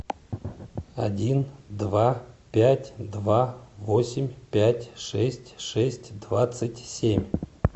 один два пять два восемь пять шесть шесть двадцать семь